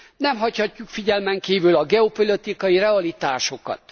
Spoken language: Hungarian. Nem hagyhatjuk figyelmen kívül a geopolitikai realitásokat.